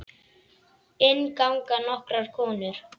Inn ganga nokkrar konur.